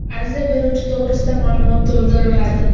Ariza beruvchi to‘g‘risida ma’lumot to‘ldiriladi.